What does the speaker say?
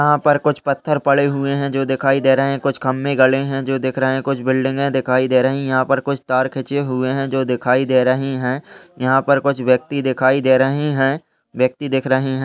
यहाँ पर कुछ पत्थर पड़े हुए हैं जो दिखाई दे रहे हैं। कुछ खम्बे गड़े हैं जो दिख रहे हैं। कुछ बिल्डिंगें दिखाई दे रही हैं। यहाँ पर कुछ तार खींचे हुए हैं जो दिखाई दे रहे हैं। यहाँ पर कुछ व्यक्ति दिखाई दे रहे हैं। व्यक्ति दिख रहे हैं।